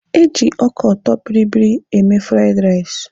Eji ọka ọtọbịrịbịrị eme fraiịd rais.